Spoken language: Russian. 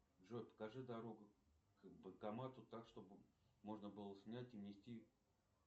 джой покажи дорогу к банкомату так чтобы можно было снять и внести